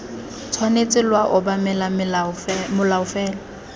tshwanetse lwa obamela molao fela